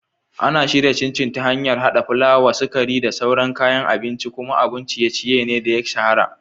Ana shirya Chin Chin ta hanyar haɗa fulawa, sukari, da sauran kayan abinci, kuma abun ciye-ciye ne da ya shahara.